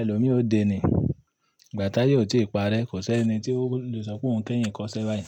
ẹlòmí o de ní. Ìgbà táyè ò tí parẹ́, kò sẹ́ni tí o lè sọ pé òun kẹ́yìn kọ iṣẹ́ báyì.